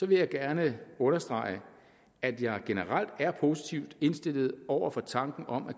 vil jeg gerne understrege at jeg generelt er positivt indstillet over for tanken om at